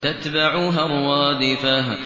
تَتْبَعُهَا الرَّادِفَةُ